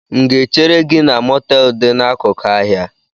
M ga ehere gị na moteelu dị n'akụkụ ahịa?